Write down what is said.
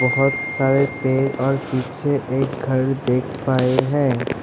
बहुत सारे पेड़ और पीछे एक घर दिख रहे हैं।